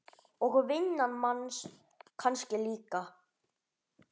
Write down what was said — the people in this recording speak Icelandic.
Og vinnan manns kannski líka.